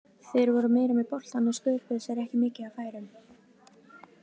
Þeir voru meira með boltann en sköpuðu sér ekki mikið af færum.